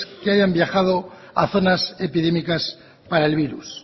que hayan viajado a zonas epidémicas para el virus